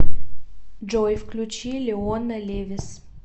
джой включи леона левис